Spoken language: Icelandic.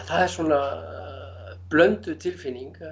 er svona blönduð tilfinning